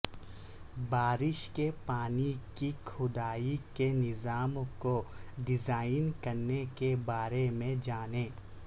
بارش کے پانی کی کھدائی کے نظام کو ڈیزائن کرنے کے بارے میں جانیں